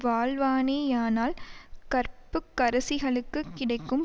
வாழ்வானேயானால் கற்புக்கரசிகளுக்குக் கிடைக்கும்